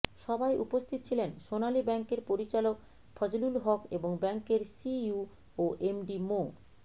সভায় উপস্থিত ছিলেন সোনালী ব্যাংকের পরিচালক ফজলুল হক এবং ব্যাংকের সিইও ও এমডি মো